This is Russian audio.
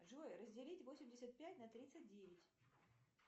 джой разделить восемьдесят пять на тридцать девять